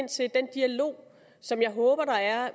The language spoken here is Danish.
ind til den dialog som jeg håber der er